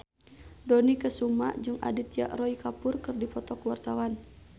Dony Kesuma jeung Aditya Roy Kapoor keur dipoto ku wartawan